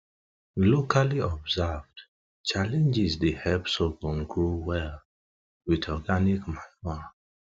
locally observed challenges dey help sorghum grow well um with organic manure